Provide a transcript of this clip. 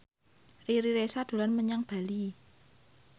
Riri Reza dolan menyang Bali